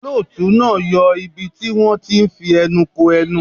Olóòtú náà yọ ibi tí wón ti ń fi ẹnu ko ẹnu.